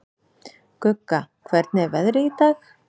Gugga, hvernig er veðrið í dag?